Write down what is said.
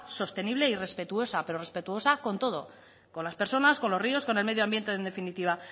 sostenible y respetuosa pero respetuosa con todo con las personas con los ríos con el medioambiente en definitiva